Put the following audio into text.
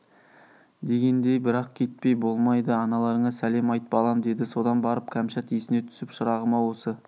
дегендей бірақ кетпей болмайды аналарыңа сәлем айт балам деді содан барып кәмшат есіне түсіп шырағым-ау осы